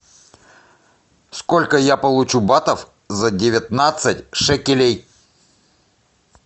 сколько я получу батов за девятнадцать шекелей